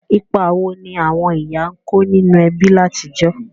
Ìpa wo ni àwon ìyá n ko ninú ebí látijọ̀?